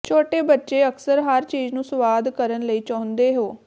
ਛੋਟੇ ਬੱਚੇ ਅਕਸਰ ਹਰ ਚੀਜ਼ ਨੂੰ ਸੁਆਦ ਕਰਨ ਲਈ ਚਾਹੁੰਦੇ ਹੋ